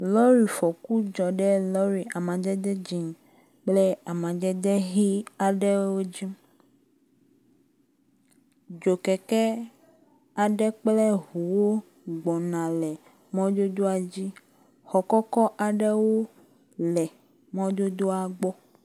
Lɔrifɔku dzɔ ɖe lɔri amadede dzɛ̃ kple lɔri amadede ʋi aɖewo dzi. Dzokɛkɛ aɖewo kple ŋuwo gbɔna le mɔdodoa dzi. Xɔ kɔkɔ aɖewo le mɔdodoa gbɔ.